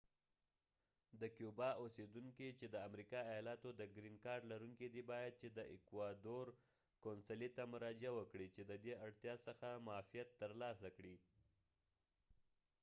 د کیوبا اوسیدونکی چی د امریکا د ایالاتو د ګرین کارډ لرونکی دی باید چی د ایکوادور قونصلی ته مراجعه وکړی چی ددی اړتیا څخه معافیت تر لاسه کړی